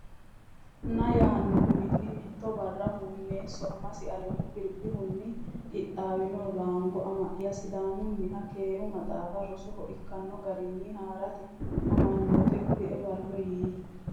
na yaanno uminni Mitto barra Huummeesso amasi Alamu Kiribihunni qixxaawino Laango Ama ya Sidaamunniha keere maxaafinni rosoho ikkanno garinni haa rate amanyoote kulie ballo yii !